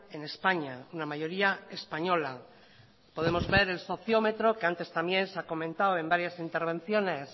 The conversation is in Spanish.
en españa una mayoría española podemos ver el sociómetro que antes también se ha comentado en varias intervenciones